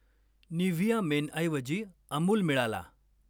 Nivea मेनऐवजी अमूल मिळाला.